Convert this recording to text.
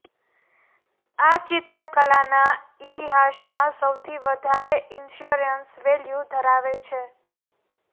આ ચિત્ર કલાના ઇતિહાસમાં સૌથી વધારે ઇન્સ્યોરન્સ વેલ્યુ ધરાવે છે